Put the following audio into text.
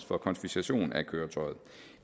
for konfiskation af køretøjet